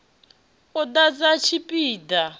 u ḓadza tshipi ḓa b